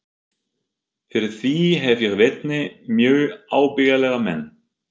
Fyrir því hef ég vitni, mjög ábyggilega menn.